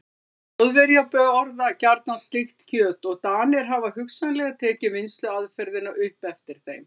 Þjóðverjar borða gjarnan slíkt kjöt og Danir hafa hugsanlega tekið vinnsluaðferðina upp eftir þeim.